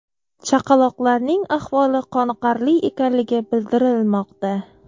Chaqaloqlarning ahvoli qoniqarli ekanligi bildirilmoqda.